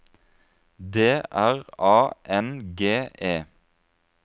D R A N G E